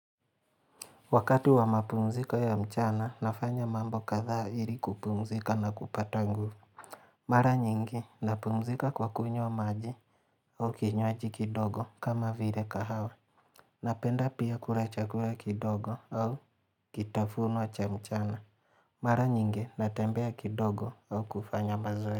Wakati wa mapumzika ya mchana nafanya mambo kadhaa ili kupumzika na kupata nguvu Mara nyingi napumzika kwa kunywa maji au kinywaji kidogo kama vile kahawa Napenda pia kula chakula kidogo au kitafuno cha mchana Mara nyingi natembea kidogo au kufanya mazoe.